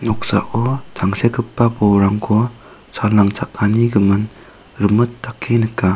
noksako tangsekgipa bolrangko sal nangchakani gimin rimit dake nika.